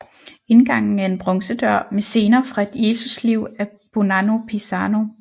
Indgangen er en bronzedør med scener fra Jesus liv af Bonanno Pisano